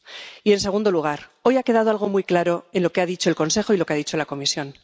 Y, en segundo lugar, hoy ha quedado algo muy claro en lo que ha dicho el Consejo y lo que ha dicho la Comisión.